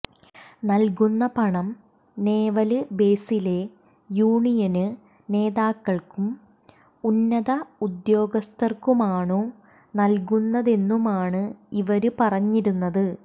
നല്കുന്ന പണം നേവല് ബേസിലെ യൂണിയന് നേതാക്കള്ക്കും ഉന്നത ഉദ്യോഗസ്ഥര്ക്കുമാണു നല്കുന്നതെന്നുമാണ് ഇവര് പറഞ്ഞിരുന്നത്